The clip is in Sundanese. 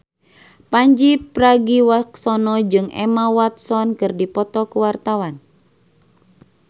Pandji Pragiwaksono jeung Emma Watson keur dipoto ku wartawan